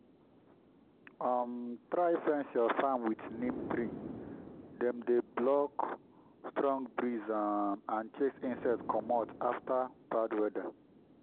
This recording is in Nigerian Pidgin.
um try fence your farm with neem tree—dem dey block strong breeze um and chase insect commot after bad weather.